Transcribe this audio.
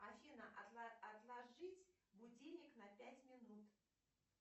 афина отложить будильник на пять минут